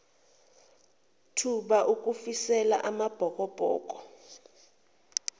thuba ukufisela amabhokobhoko